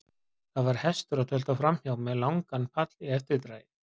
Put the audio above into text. Það var hestur að tölta framhjá með langan pall í eftirdragi.